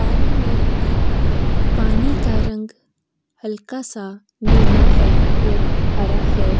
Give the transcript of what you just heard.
पानी में नी पानी का रंग हल्का सा नीला है और हरा है।